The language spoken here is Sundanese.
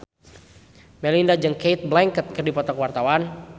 Melinda jeung Cate Blanchett keur dipoto ku wartawan